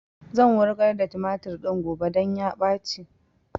Zan wurgar da tumatur din gobe don ya ɓaci